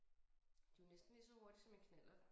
De jo næsten lige så hurtige som en knallert